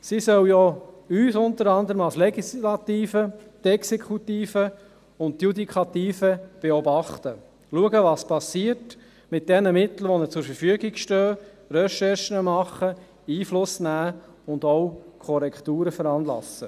Sie sollen ja unter anderem uns als Legislative sowie die Exekutive und die Judikative beobachten – schauen, was geschieht, mit den Mitteln, die ihnen zur Verfügung stehen, Recherchen machen, Einfluss nehmen und auch Korrekturen veranlassen.